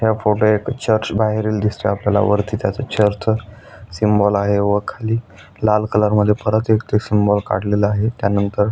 या फोटो एक पिक्चर्स बाहेरील दिसतात आपल्याला वरती त्या चर्च सिम्बाॅल आहे व खाली लाल कलर मधी परत एक सिम्बाॅल काढलेला आहे. त्या नंतर --